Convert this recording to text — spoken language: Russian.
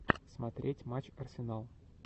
смотреть матч арсенал